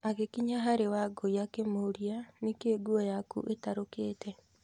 Agĩkinya harĩ Wangũi akĩmũũria, "Nĩ kĩĩ nguo yaku ĩtarũkĩte?"